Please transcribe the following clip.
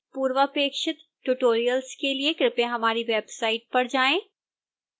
पूर्वपेक्षित tutorials के लिए कृपया हमारी वेबसाइट पर जाएं